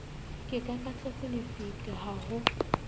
ke kakatletse lefika ha ho